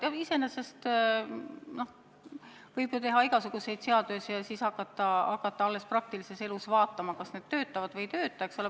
Jah, iseenesest võib ju teha igasuguseid seadusi ja siis hakata praktilises elus vaatama, kas need töötavad või ei tööta.